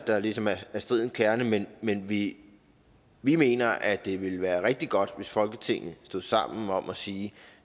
der ligesom er stridens kerne men vi vi mener at det ville være rigtig godt hvis folketinget stod sammen om at sige